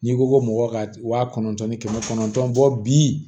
N'i ko ko mɔgɔ ka wa kɔnɔntɔn ni kɛmɛ kɔnɔntɔn bi